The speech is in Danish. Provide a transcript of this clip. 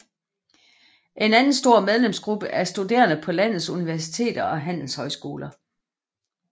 En anden stor medlemsgruppe er studerende på landets universiteter og handelshøjskoler